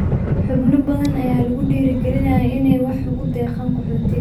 Xubno badan ayaa lagu dhiirigelinayaa inay wax ugu deeqaan qaxootiga.